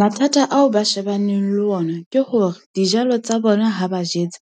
Mathata ao ba shebaneng le ona ke hore dijalo tsa bona ha ba jetse,